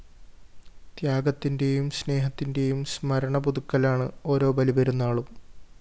ത്യാഗത്തിന്റെയും സ്‌നേഹത്തിന്റെയും സ്മരണപുതുക്കലാണ് ഓരോ ബലിപ്പെരുന്നാളും